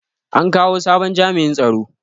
An kawo sabon jami'in tsaro.